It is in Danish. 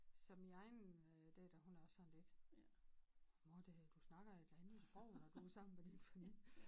Så min egen øh datter hun er også sådan lidt mor det du snakker et andet sprog når du er sammen med dine familie